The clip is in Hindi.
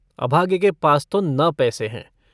अभागे के पास तो न पैसे हैं।